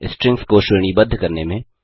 strings को श्रेणीबद्ध करने में